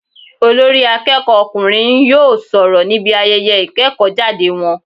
Olórí akéèkó ọkùnrin n yóò sòrò níbi ayeye ìkéèkó jáde won